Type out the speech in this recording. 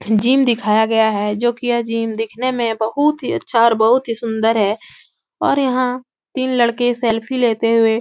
gym दिखाया गया है जो कि यह जिम दिखने में बहोत ही अच्छा और बहोत ही सुन्दर है और यहाँ तीन लड़के सेल्फी लेते हुए --